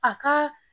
A ka